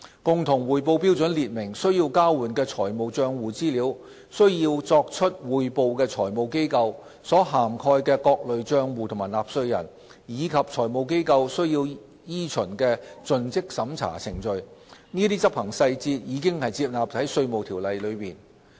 共同匯報標準列明須交換的財務帳戶資料、須作出匯報的財務機構、所涵蓋的各類帳戶和納稅人，以及財務機構須依循的盡職審查程序，這些執行細節已收納在《稅務條例》內。